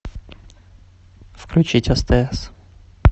включить стс